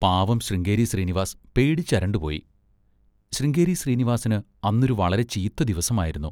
പാവം ശൃംഗേരി ശ്രീനിവാസ് പേടിച്ചരണ്ടുപോയി. ശൃംഗേരി ശ്രീനിവാസിന് അന്നൊരു വളരെ ചീത്ത ദിവസമായിരുന്നു.